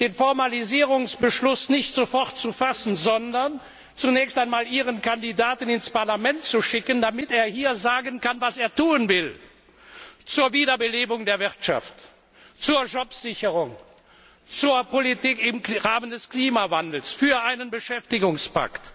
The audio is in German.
den Formalisierungsbeschluss nicht sofort zu fassen, sondern zunächst einmal Ihren Kandidaten ins Parlament zu schicken, damit er hier sagen kann, was er tun will zur Wiederbelebung der Wirtschaft, zur Jobsicherung, zur Bekämpfung des Klimawandels, für einen Beschäftigungspakt,